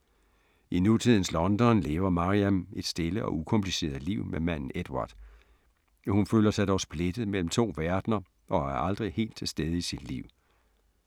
I nutidens London lever Maryam et stille og ukompliceret liv med manden Edward. Hun føler sig dog splittet mellem to verdener og er aldrig helt til stede i sit liv.